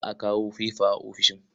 Za a kawo fefa a ofishin.